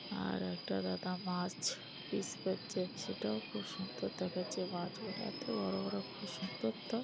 আর একটা দাদা মাছ পিস করছে সেটাও খুব সুন্দর দেখাচ্ছে। মাছগুলো এত বড় বড় খুব সুন্দর তো।